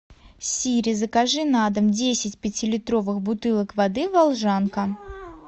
сири закажи на дом десять пятилитровых бутылок воды волжанка